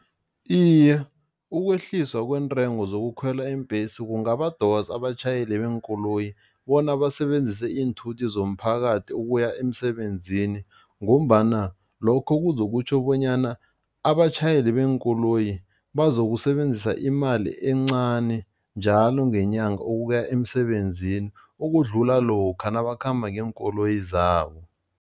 Iye, ukwehliswa kweentengo zokukhwela iimbhesi kungabadosa abatjhayeli beenkoloyi bona basebenzise iinthuthi zomphakathi ukuya emsebenzini ngombana lokho kuzokutjho bonyana abatjhayeli beenkoloyi bazokusebenzisa imali encani njalo ngenyanga ukuya emsebenzini ukudlula lokha nabakhamba ngeenkoloyi zabo.